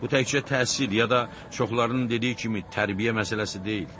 Bu təkcə təhsil ya da çoxlarının dediyi kimi tərbiyə məsələsi deyildi.